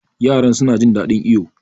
Yaran suna jin ɗaɗin iyo.